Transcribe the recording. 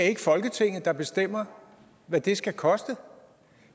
ikke folketinget der bestemmer hvad det skal koste